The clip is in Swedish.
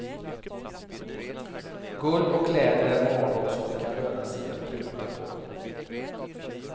Guld och läder är varor som det kan löna sig att pruta på.